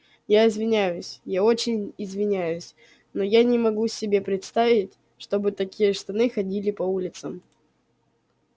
я извиняюсь я очень извиняюсь но я не могу себе представить чтобы такие штаны ходили по улицам